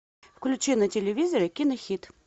включи на телевизоре кинохит